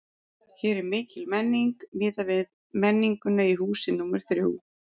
Hér er mikil menning, miðað við menninguna í húsi númer þrjú.